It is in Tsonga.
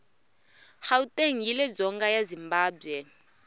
gauteng yiledzonga ya zimbabwe